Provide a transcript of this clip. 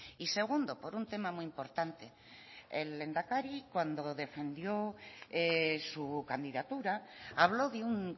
y segundo por un tema muy importante el lehendakari cuando defendió su candidatura habló de un